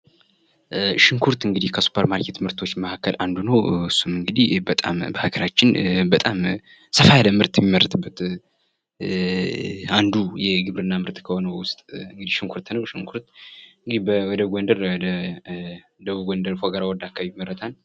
ሽንኩርት እንግዲህ ከሱፐርማርኬት ምርቶች መካከል አንዱ ነው እንግዲህ በጣም በሀገራችን በጣም ሰፋ ያለ ምርት የሚመረጡበት አንዱ የግብርና ምርት ከሆኑ ውስጥ እንግዲህ የሽንኩርት ነው ሽንኩርት እንግዲህ ደቡብ ጎንደር ፎገራ ወረዳ አካባቢ ይመረታል።